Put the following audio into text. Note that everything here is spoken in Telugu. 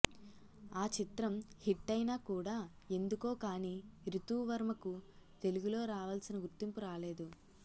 ఆ చిత్రం హిట్టైనా కూడా ఎందుకో కానీ రితూవర్మకు తెలుగులో రావాల్సిన గుర్తింపు రాలేదు